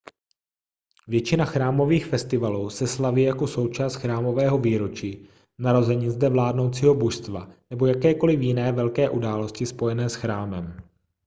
většina chrámových festivalů se slaví jako součást chrámového výročí narozenin zde vládnoucího božstva nebo jakékoliv jiné velké události spojené s chrámem